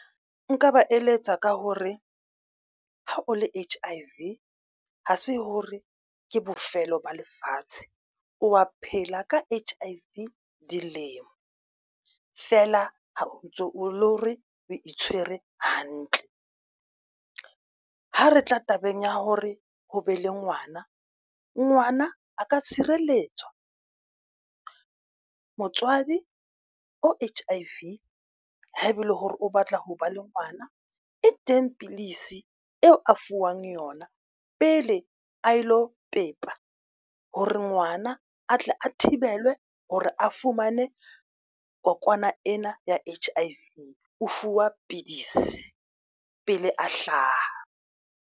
Nka ba eletsa ka hore ha o le H_I_V ha se hore ke bofelo ba lefatshe o wa phela ka H_I_V dilemo fela ha o ntso o lo re o itshwere hantle. Ha re tla tabeng ya hore ho be le ngwana ngwana a ka tshireletswa motswadi H_I_V ha ebe ele hore o batla ho ba le ngwana e teng pidisi eo a fuwang yona pele a lo pepa hore ngwana a tle a thibelwe hore a fumane kokwana ena ya H_I_V o fuwa pidisi pele a hlaha.